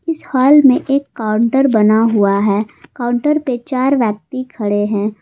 इस हाल में एक काउंटर बना हुआ है काउंटर पे चार व्यक्ति खड़े हैं।